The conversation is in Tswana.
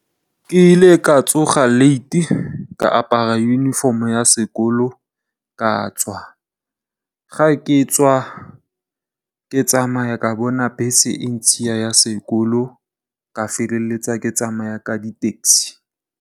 Ke ile ka tsoga late ka apara uniform ya sekolo ka tswa, ga ke tswa, ke tsamaya ka bona bese e ntshiya ya sekolo ka feleletsa ke tsamaya ka di tekisi.